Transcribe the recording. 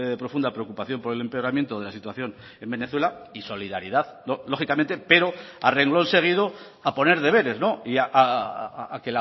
profunda preocupación por el empeoramiento de la situación en venezuela y solidaridad lógicamente pero a renglón seguido a poner deberes y a